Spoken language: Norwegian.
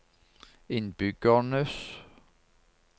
innbyggernes